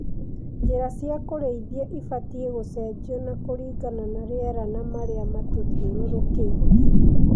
Njĩra cia kũrĩithia ibatie gũcenjio kũringana na rĩera na marĩa matũthiũrũrũkĩirie.